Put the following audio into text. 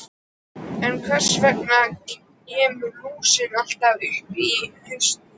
En hvers vegna kemur lúsin alltaf upp á haustin?